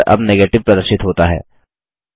उत्तर अब नेगेटिव प्रदर्शित होता है